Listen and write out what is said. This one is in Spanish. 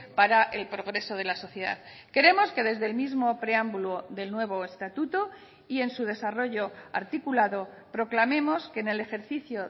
para el progreso de la sociedad creemos que desde el mismo preámbulo del nuevo estatuto y en su desarrollo articulado proclamemos que en el ejercicio